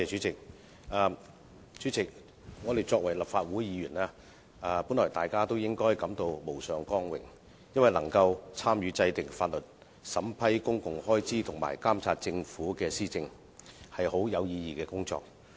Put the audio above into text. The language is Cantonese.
主席，我們作為立法會議員，本來大家也應該感到無上光榮，因為能夠參與制定法律、審批公共開支和監察政府施政，是很有意義的工作。